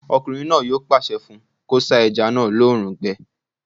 Ọkùnrin náà yóò pàṣẹ fún un kó sá ẹja náà lóòrùn gbẹ